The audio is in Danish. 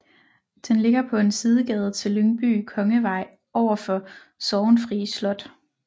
Den ligger på en sidegade til Lyngby Kongevej overfor Sorgenfri Slot